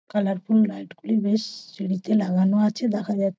colourful light গুলো বেশ-শ সিঁড়িতে আছে দেখা যাচ্--